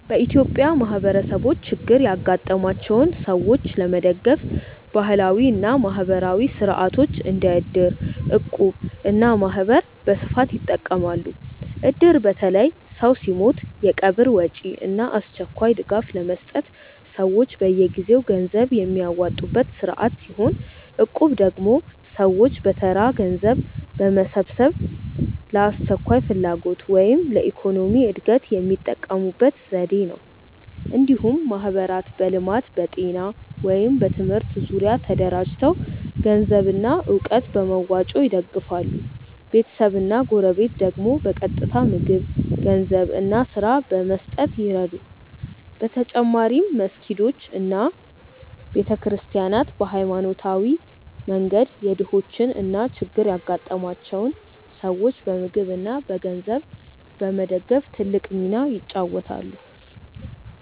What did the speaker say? በኢትዮጵያ ማህበረሰቦች ችግር ያጋጠማቸውን ሰዎች ለመደገፍ ባህላዊ እና ማህበራዊ ሥርዓቶች እንደ እድር፣ እቁብ እና ማህበር በስፋት ይጠቀማሉ። እድር በተለይ ሰው ሲሞት የቀብር ወጪ እና አስቸኳይ ድጋፍ ለመስጠት ሰዎች በየጊዜው ገንዘብ የሚያዋጡበት ስርዓት ሲሆን፣ እቁብ ደግሞ ሰዎች በተራ ገንዘብ በመሰብሰብ ለአስቸኳይ ፍላጎት ወይም ለኢኮኖሚ እድገት የሚጠቀሙበት ዘዴ ነው። እንዲሁም ማህበራት በልማት፣ በጤና ወይም በትምህርት ዙሪያ ተደራጅተው ገንዘብና እውቀት በመዋጮ ይደግፋሉ፤ ቤተሰብና ጎረቤት ደግሞ በቀጥታ ምግብ፣ ገንዘብ እና ስራ በመስጠት ይረዱ። በተጨማሪም መስጊዶች እና ቤተ ክርስቲያናት በሃይማኖታዊ መንገድ የድሆችን እና ችግር ያጋጠማቸውን ሰዎች በምግብ እና በገንዘብ በመደገፍ ትልቅ ሚና ይጫወታሉ።